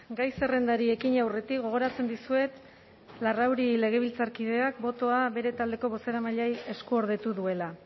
gai zerrendari ekin aurretik gogoratzen dizuet larrauri legebiltzarkideak botoa bere taldeko bozeramaileari eskuordetu duela